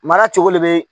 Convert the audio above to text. Mara cogo le bɛ